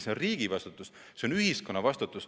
See on riigi vastutus, see on ühiskonna vastutus.